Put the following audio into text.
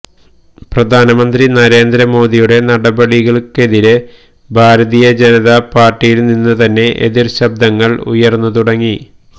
പ്രധാനമന്ത്രി നരേന്ദ്ര മോദിയുടെ നടപടികള്ക്കിതിരെ ഭാരതീയ ജനതാ പാര്ട്ടിയില് നിന്നു തന്നെ എതിര് ശബ്ദങ്ങള് ഉയര്ന്നു തുടങ്ങി